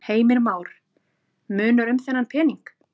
Heimir Már: Munar um þennan pening?